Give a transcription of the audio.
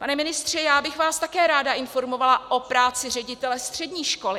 Pane ministře, já bych vás také ráda informovala o práci ředitele střední školy.